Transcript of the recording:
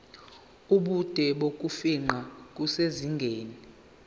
ubude bokufingqa kusezingeni